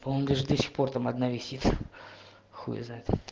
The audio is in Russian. по моему она даже до сих пор там одна весит хуй знает